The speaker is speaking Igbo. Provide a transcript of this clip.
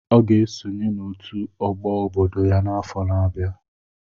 Ọ ga-esonye n'otu ọgbọ obodo ya n'afọ na-abịa.